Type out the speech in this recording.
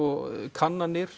kannanir